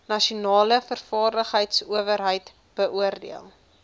nasionale vaardigheidsowerheid beoordeel